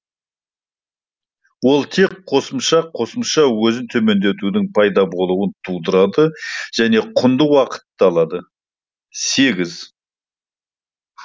ол тек қосымша қосымша өзін төмендетудің пайда болуын тудырады және құнды уақытты алады сегіз